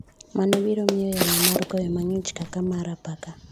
Mano biromiyo yamo mar koyo mang'ich kaka mar apaka.